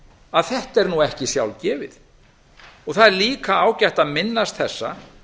að þetta er nú ekki sjálfgefið það er líka ágætt að minnast þessa